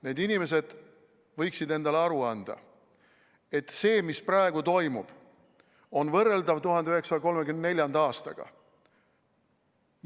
Need inimesed võiksid endale aru anda, et see, mis praegu toimub, on võrreldav 1934. aastaga.